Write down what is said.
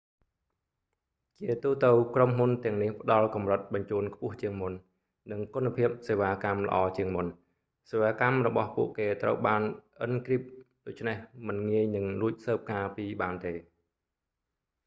ជាទូទៅ ក្រុមហ៊ុនទាំងនេះផ្តល់កម្រិតបញ្ជូនខ្ពស់ជាងមុន និងគុណភាពសេវាកម្មល្អជាងមុន សេវាកម្មរបស់ពួកគេត្រូវបានអ៊ិនគ្រីប ដូច្នេះមិនងាយនឹងលួចស៊ើបការណ៍ពីបានទេ